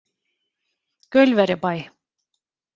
Gaulverjabæ